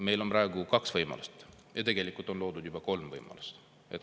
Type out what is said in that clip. Meil on praegu kaks võimalust ja tegelikult on loodud juba kolmaski võimalus.